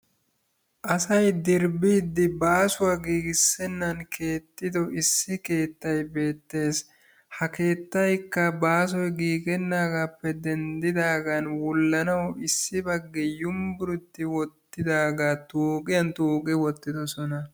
asay dirbbiiddi baasuwaa giigissennan keexxido issi keettay beettees. ha keettaykka baasoy giigennaagappe denddidaagan wullanawu issi baggi yunbburetti wottidaagaa tuuqiyaan tuuqi uttidoosona.